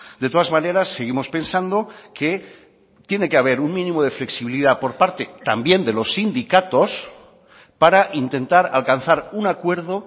de todas maneras seguimos pensando que tiene que haber un mínimo de flexibilidad por parte también de los sindicatos para intentar alcanzar un acuerdo